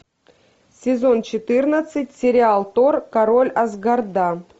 сезон четырнадцать сериал тор король асгарда